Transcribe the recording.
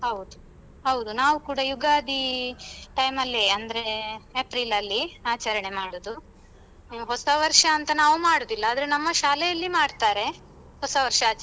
ಹೌದು ಹೌದು ನಾವು ಕೂಡ ಯುಗಾದಿ time ಅಲ್ಲಿ ಅಂದ್ರೇ ಏಪ್ರಿಲ್ ಅಲ್ಲಿ ಆಚರಣೆ ಮಾಡುದು. ಹೊಸವರ್ಷ ಅಂತ ನಾವು ಮಾಡುದಿಲ್ಲ ಆದ್ರೆ ನಮ್ಮ ಶಾಲೆಯಲ್ಲಿ ಮಾಡ್ತಾರೆ ಹೊಸವರ್ಷ ಆಚರಣೆ.